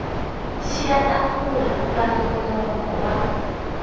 xiya tafula ra nongonoko wa